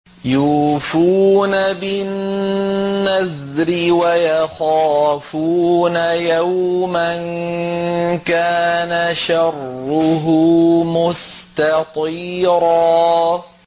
يُوفُونَ بِالنَّذْرِ وَيَخَافُونَ يَوْمًا كَانَ شَرُّهُ مُسْتَطِيرًا